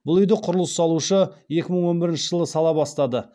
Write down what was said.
бұл үи ді құрылыс салушы екі мың он бірінші жылы сала бастады